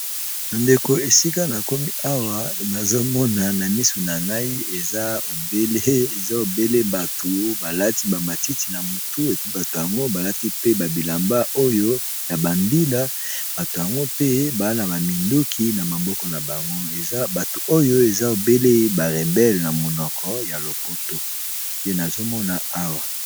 Bandeko esika na komi awa nazomona na misu na ngai eza ebele bato balati ba matiti na mutu, bato yango balati pe ba bilamba oyo ya ba mbila bato yango pe baza baminduki na maboko na bango ebato oyo eza ebele ba rebele na monoko ya lopoto nde nazomona awa.